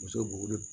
Muso b'o wele